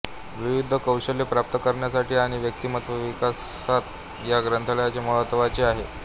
विविध कौशल्ये प्राप्त करण्यासाठी आणि व्यक्तिमत्त्व विकासात या ग्रंथालयाचे महत्त्वाचे आहे